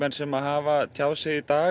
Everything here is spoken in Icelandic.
sem hafa tjáð sig í dag